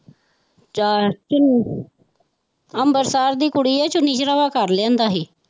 ਅੰਬਰਸਰ ਦੀ ਕੁੜੀ ਹੈ ਚੁੰਨੀ ਚੜਾਵਾ ਕਰ ਲਿਆਂਦਾ ਸੀ।